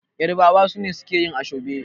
yarabawa sune suke yi ashobe